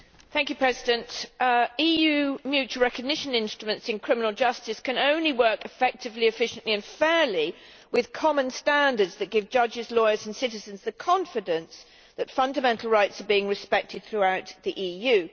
Mr President, EU mutual recognition instruments in criminal justice can only work effectively, efficiently and fairly with common standards that give judges, lawyers and citizens the confidence that fundamental rights are being respected throughout the EU.